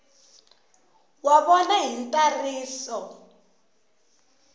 wa vona hi ntsariso wa